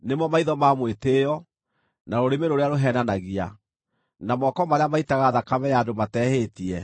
maitho ma mwĩtĩĩo, na rũrĩmĩ rũrĩa rũheenanagia, na moko marĩa maitaga thakame ya andũ matehĩtie,